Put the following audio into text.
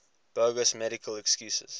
bogus medical excuses